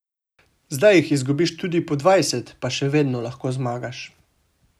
Zdaj jih izgubiš tudi po dvajset, pa še vedno lahko zmagaš.